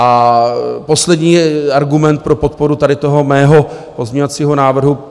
A poslední argument pro podporu tady toho mého pozměňovacího návrhu.